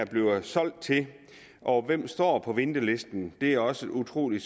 bliver solgt til og hvem der står på ventelisten det er også et utrolig